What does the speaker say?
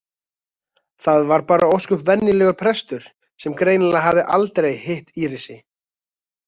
Þar var bara ósköp venjulegur prestur sem greinilega hafði aldrei hitt Írisi.